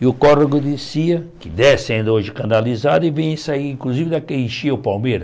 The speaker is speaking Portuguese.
E o córrego descia, que desce ainda hoje canalizado, e vem sair, inclusive, daqueles enchiam o Palmeira.